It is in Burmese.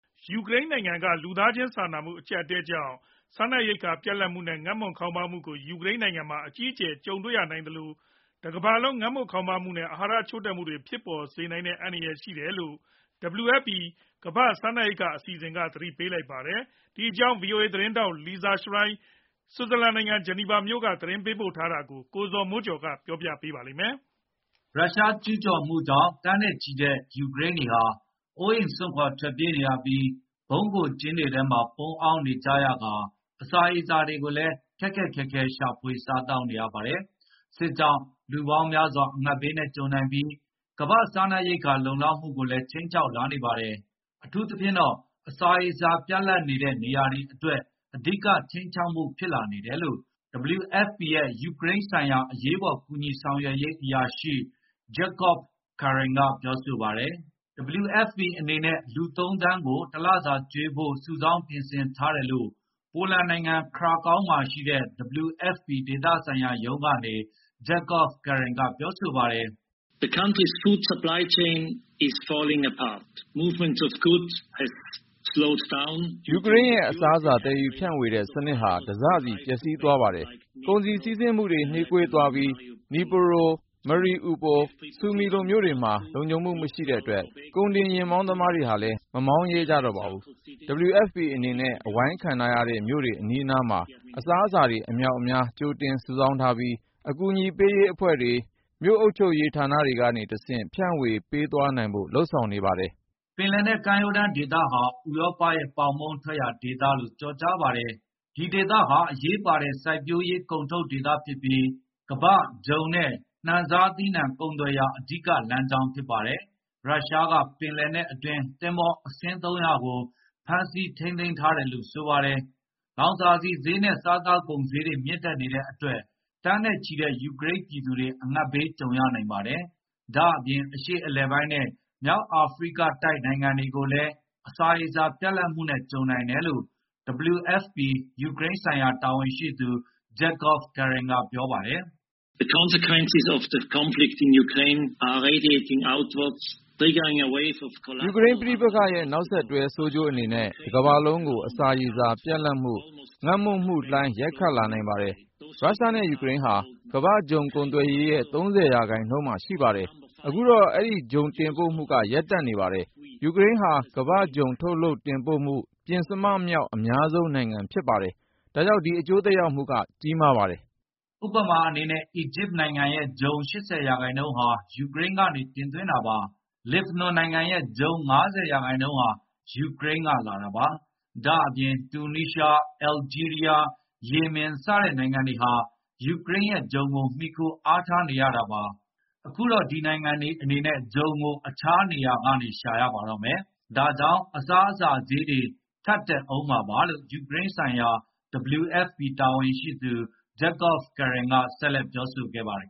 ယူကရိန်းနိုင်ငံက လူသားချင်းစာနာမှု အကျပ်အတည်းကြောင့် စားနပ်ရိက္ခာ ပြတ်လပ်မှုနဲ့ ငတ်မွတ်ခေါင်းပါးမှုကို ယူကရိန်းနိုင်ငံမှာ အကြီးအကျယ် ကြုံရနိုင်သလို ကမ္ဘာတလွှားမှာပါ ငတ်မွတ်ခေါင်းပါးမှုနဲ့ အာဟာရချို့တဲ့မှုတွေ ကြီးထွားလာမယ့် အန္တရာယ် ရှိနေတယ်လို့ WFP ကမ္ဘာ့စားနပ်ရိက္ခာ အစီအစဉ်က သတိပေးလိုက်ပါတယ်။ ဒီအကြောင်း ဗွီအိုအေသတင်းထောက် Lisa Schlein ဆွစ်ဇာလန်နိုင်ငံ ဂျီနီဗာမြို့ကနေ သတင်းပေးပို့ထားတာကို ကိုဇော်မိုးကျော် တင်ပြပေးထားပါတယ်။ ရုရှားကျူးကျော်မှုကြောင့် သန်းနဲ့ချီတဲ့ ယူကရိန်းတွေဟာ အိုးအိမ်စွန့်ခွါ ထွက်ပြေးရပြီး ဗုံးခိုကျင်းတွေထဲမှာ ပုန်းအောင်းနေကြရကာ အစာရေစာတွေကိုလည်း ခက်ခက်ခဲခဲ ရှာဖွေစားသောက်နေရပါတယ်။ စစ်ကြောင့် လူပေါင်းများစွာ အငတ်ဘေးကြုံနိုင်ပြီး ကမ္ဘာ့စားနပ်ရိက္ခာ လုံလောက်မှုကိုလည်း ခြိမ်းခြောက်လာနေပါတယ်။ အထူးသဖြင့်တော့ အစာရေစာ ပြတ်လပ်နေတဲ့ နေရာတွေအတွက် အဓိကခြိမ်းခြောက်မှု ဖြစ်လာနေတယ်လို့ WFP ရဲ့ ယူကရိန်းဆိုင်ရာ အရေးပေါ် ကူညီဆောင်ရွက်ရေးအရာရှိ Jakob Kern က ပြောပါတယ်။ WFP အနေနဲ့ လူ ၃ သန်းကို တလစာကျွေးဖို့ စုဆောင်းပြင်ဆင်ထားတယ်လို့ ပိုလန်နိုင်ငံ Krakow မှာရှိတဲ့ WFP ဒေသဆိုင်ရာရုံးကနေ Jakob Kern က ပြောပါတယ်။ “ယူကရိန်းရဲ့ အစားအစာ သယ်ယူဖြန့်ဝေတဲ့ စနစ်ဟာ တစစီ ပျက်စီးသွားပါတယ်။ ကုန်စည်စီးဆင်းမှုတွေဟာ နှေးကွေးသွားပြီး Dnipro, Mariupol, Sumi လို မြို့တွေမှာ လုံခြုံမှုမရှိတဲ့အတွက် ကုန်တင်ယာဉ်မောင်းသမားတွေဟာလည်း မမောင်းရဲကြပါဘူး။ WFP အနေနဲ့ အဝိုင်းခံထားရတဲ့မြို့တွေ အနီးအနားမှာ အစားအစာတွေ အမြောက်အမြား ကြိုတင်စုဆောင်းထားပြီး ကူညီလုပ်ဆောင်ပေးနေတဲ့ တခြားအဖွဲ့အစည်းတွေ၊ မြို့အုပ်ချုပ်ရေးဌာနတွေကနေ တဆင့် ဖြန့်ဝေပေးသွားဖို့ လုပ်ဆောင်ထားပါတယ်။” ပင်လယ်နက် ကမ်းရိုးတန်းဒေသဟာ ဥရောပရဲ့ ပေါင်မုန့်ထွက်ရာဒေသလို့ ကျော်ကြားပါတယ်။ ဒီဒေသဟာ အရေးပါတဲ့ စိုက်ပျိုးရေးကုန်ထုတ်ဒေသဖြစ်ပြီး ကမ္ဘာ့ဂျုံနဲ့ နှံစားသီးနှံ ကုန်သွယ်ရာ အဓိကလမ်းကြောင်း ဖြစ်ပါတယ်။ ရုရှားက ပင်လယ်နက်အတွင်း သင်္ဘောအစင်း ၃၀၀ ကို ဖမ်းဆီးထိန်းသိမ်းထားတယ်လို့ ဆိုပါတယ်။ လောင်စာဆီဈေးနဲ့ စားသောက်ကုန်ဈေးတွေ မြင့်တက်နေတဲ့အတွက် သန်းနဲ့ချီတဲ့ ယူကရိန်းပြည်သူတွေ အငတ်ဘေး ကြုံရနိုင်ပါတယ်။ ဒါ့အပြင် အရှေ့အလယ်ပိုင်းနဲ့ မြောက်အာဖရိကတိုက် နိုင်ငံတွေကိုလည်း အစာရေစာ ပြတ်လပ်မှုနဲ့ ကြုံနိုင်တယ်လို့ WFP ယူကရိန်းဆိုင်ရာ တာဝန်ရှိသူ Jakob Kern က ပြောပါတယ်။ “ယူကရိန်းပဋိပက္ခရဲ့ နောက်ဆက်တွဲ ဆိုးကျိုးအနေနဲ့ တကမ္ဘာလုံးကို အစာရေစာပြတ်လပ်မှု၊ ငတ်မွတ်မှုလှိုင်း ရိုက်ခတ်နိုင်ပါတယ်။ ရုရှားနဲ့ ယူကရိန်းဟာ ကမ္ဘာ့ဂျုံကုန်သွယ်ရေးရဲ့ ၃၀ ရာခိုင်နှုန်း ရှိပါတယ်။ အခုတော့ ဒီဂျုံတင်ပို့မှုတွေဟာ ရပ်တန့်နေပါတယ်။ ယူကရိန်းဟာ ကမ္ဘာ့ဂျုံထုတ်လုပ်တင်ပို့မှု ပဉ္စမမြောက် အများဆုံးနိုင်ငံ ဖြစ်ပါတယ်။ ဒါကြောင့် ဒီအကျိုးသက်ရောက်မှုဟာ ကြီးမားပါတယ်။” ဥပမာအနေနဲ့ အီဂျစ်နိုင်ငံရဲ့ ဂျုံ ၈၀ ရာခိုင်နှုန်းဟာ ယူကရိန်းကနေ တင်သွင်းတာပါ။ လက်ဘနွန်နိုင်ငံရဲ့ ဂျုံ ၅၀ ရာခိုင်နှုန်းဟာ ယူကရိန်းက လာတာပါ။ ဒါ့အပြင် တူနီးရှား၊ အယ်လ်ဂျီးရီးယား၊ ယီမင် စတဲ့နိုင်ငံတွေဟာ ယူကရိန်းရဲ့ဂျုံကို မှီခိုအားထားနေရတာပါ။ အခုတော့ ဒီနိုင်ငံတွေအနေနဲ့ ဂျုံကို တခြားနေရာကနေ ရှာရပါတော့မယ်။ ဒါကြောင့် အစားအစာဈေးတွေ ထပ်တက်ကုန်ဦးမှာပါလို့ ယူကရိန်းဆိုင်ရာ WFP တာဝန်ရှိသူ Jakob Kern က ဆက်လက်ပြောဆိုခဲ့ပါတယ်